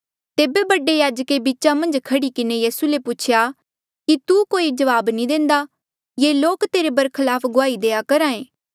तेबे बडे याजके बीचा मन्झ खह्ड़ी किन्हें यीसू ले पूछेया कि तू कोई जवाब नी देंदा ये लोक तेरे बरखलाफ गुआही देआ करहा ऐें